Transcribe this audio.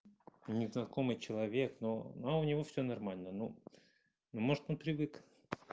незнакомый человек но но у него всё нормально ну ну может он привык